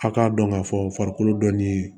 A k'a dɔn k'a fɔ farikolo dɔnni